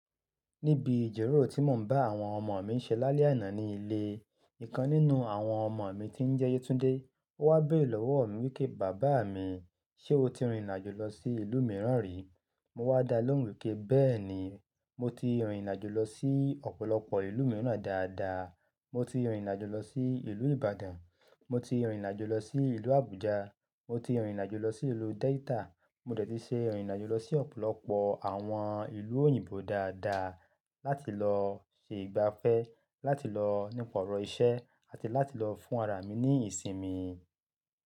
Níbi ijèrò tí mò ń bá àwọn ọmọ mi ṣe lálẹ́ àná ní ilé, ìkan nínú àwọn ọmọ mi tí ń jẹ́ Yétúndé, ó wá béèrè lọ́wọ́ mi wí pé "bàbá mi, ṣe o ti rìnrìn àjò lọ sí ìlú mìíràn rí?" Mo wá dá lóhùn wí pé "bẹ́ẹ̀ni, mo ti rìnrìn àjò lọ sí ọ̀pọ̀lọpọ̀ ìlú mìíràn dáadáa. Mo ti rìnrìn àjò lọ sí ìlú Ìbàdàn, mo ti rìnrìn àjò lọ sí ìlú Àbújá, mo ti rìnrìn àjò lọ sí ìlú Delta, mo dẹ̀ ti ṣe rìnrìn àjò lọ sí ọ̀pọ̀lọpọ̀ àwọn ìlú òyìnbó dáadáa láti lọ ṣe ìgbafẹ́, láti lọ nípa ọ̀rọ̀ iṣẹ́ àti láti lọ fún ara mi ní ìsinmi."